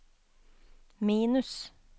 minus